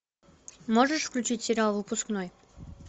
можешь включить сериал выпускной